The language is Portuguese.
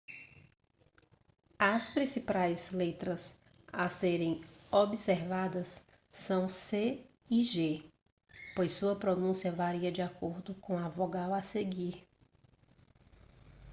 as principais letras a serem observadas são o c e g pois sua pronúncia varia de acordo com a vogal a seguir